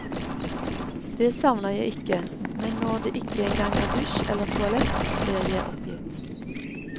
Det savner jeg ikke, men når det ikke engang er dusj eller toalett, blir jeg oppgitt.